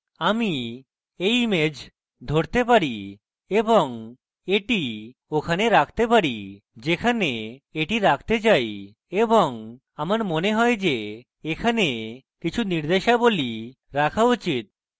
আমি এই image ধরতে পারি এবং এটি ওখানে রাখতে পারি যেখানে এটি রাখতে চাই এবং আমার মনে হয় যে এখানে কিছু নির্দেশাবলী রাখা উচিত